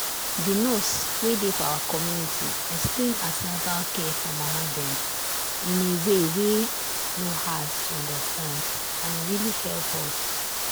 the nurse wey dey for our community explain an ten atal care for mama dem in a way wey no hard to understand and e really help.